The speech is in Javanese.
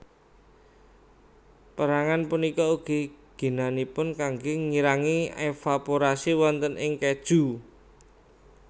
Pérangan punika ugi ginanipun kanggé ngirangi evaporasi wonten ing kèju